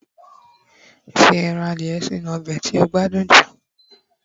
fi Eran adìye sí inú obe ti o gbádùn ju